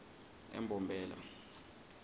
embombela